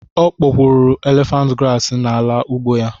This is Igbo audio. O kpopuru élèfànt grààsị n'ala ugbo ya